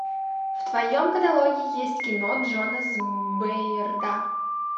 в твоем каталоге есть кино джона с бейрда